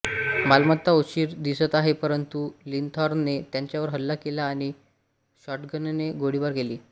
मालमत्ता उशिर दिसत आहे परंतु लिनथॉर्नने त्यांच्यावर हल्ला केला आणि शॉटगनने गोळीबार केला